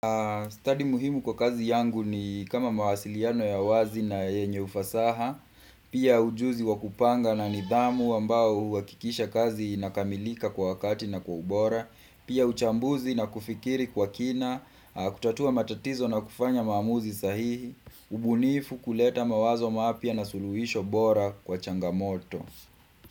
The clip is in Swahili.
Study muhimu kwa kazi yangu ni kama mahasiliano ya wazi na yenye ufasaha Pia ujuzi wakupanga na nidhamu ambao uhakikisha kazi inakamilika kwa wakati na kwa ubora Pia uchambuzi na kufikiri kwa kina, kutatua matatizo na kufanya maamuzi sahihi ubunifu kuleta mawazo mapyia na suluhisho bora kwa changamoto.